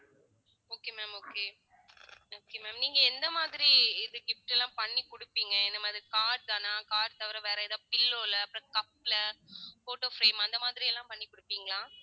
okay ma'am okay okay ma'am நீங்க எந்த மாதிரி இது gifts எல்லாம் பண்ணி கொடுப்பீங்க இந்த மாதிரி card தானா card தவிர வேற ஏதாவது pillow ல அப்புறம் cup ல photo frame அந்த மாதிரி எல்லாம் பண்ணி கொடுப்பீங்களா